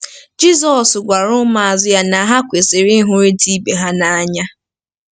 Jizọs gwara ụmụazụ ya na ha kwesịrị ‘ịhụrịta ibe ha n’anya.